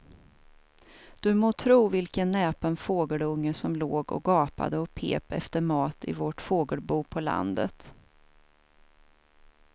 Du må tro vilken näpen fågelunge som låg och gapade och pep efter mat i vårt fågelbo på landet.